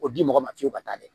O di mɔgɔ ma fiyewu ka taa dɛ